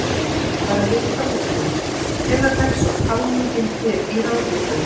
Bara rétt að lokum, hvenær hefst svo talning hér í Ráðhúsinu?